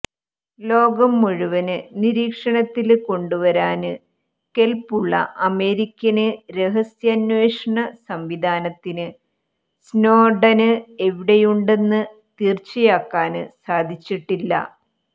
ലോകം മുഴുവന് നിരീക്ഷണത്തില് കൊണ്ടുവരാന് കെല്പ്പുള്ള അമേരിക്കന് രഹസ്യാന്വേഷണ സംവിധാനത്തിന് സ്നോഡന് എവിടെയുണ്ടെന്ന് തീര്ച്ചയാക്കാന് സാധിച്ചിട്ടില്ല